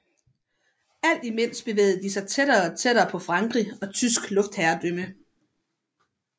Alt imens bevægede de sig tættere og tættere på Frankrig og tysk luftherredømme